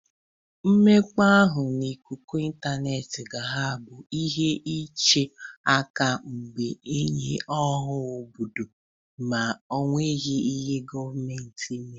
Mmekpa ahụ n'ikuku ịntaneetị ga ha abụ ihe iche aka mgba nye ọha obodo ma enweghi ihe gọmentị mere.